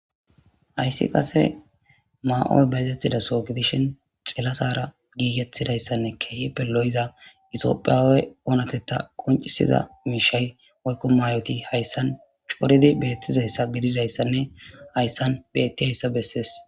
Ayssi qase maa'oy bayzethida so gidishin xelatara giigethtidayssanne keehe pelo'iza itophiyaawey oonateta qoncisiza miishay woykko may'oti hayssan coridi beettizayssa gididayssanne hayssan beetti hayssa bessees.